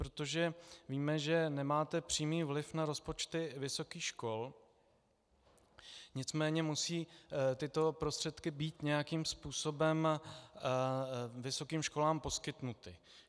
Protože víme, že nemáte přímý vliv na rozpočty vysokých škol, nicméně musí tyto prostředky být nějakým způsobem vysokým školám poskytnuty.